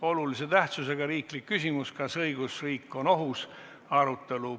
Olulise tähtsusega riiklik küsimus "Kas õigusriik on ohus?" arutelu.